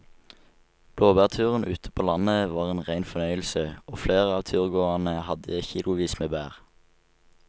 Blåbærturen ute på landet var en rein fornøyelse og flere av turgåerene hadde kilosvis med bær.